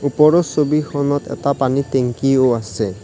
ওপৰৰ ছবিখনত এটা পানী টেংকিও আছে।